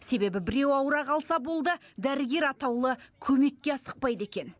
себебі біреу ауыра қалса болды дәрігер атаулы көмекке асықпайды екен